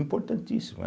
Importantíssimo.